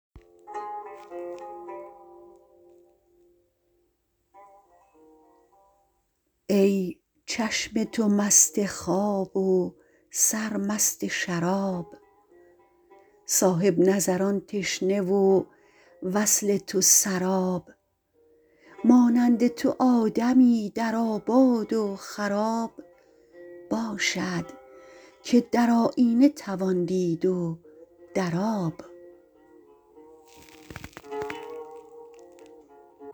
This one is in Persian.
ای چشم تو مست خواب و سرمست شراب صاحب نظران تشنه و وصل تو سراب مانند تو آدمی در آباد و خراب باشد که در آیینه توان دید و در آب